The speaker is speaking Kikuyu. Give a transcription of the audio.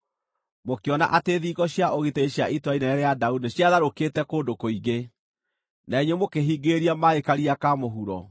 mũkĩona atĩ thingo cia ũgitĩri cia Itũũra Inene rĩa Daudi nĩciatharũkĩte kũndũ kũingĩ; na inyuĩ mũkĩhingĩrĩria maaĩ Karia ka Mũhuro.